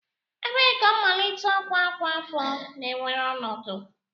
Ebee ka mmalite ọkwa ọkwa afọ na-ewere ọnọdụ?